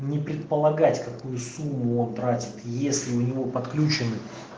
не предполагать какую сумму мог брать если у него подключены